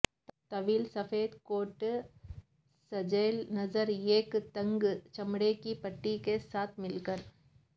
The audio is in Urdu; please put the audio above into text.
طویل سفید کوٹ سجیلا نظر ایک تنگ چمڑے کی پٹی کے ساتھ مل کر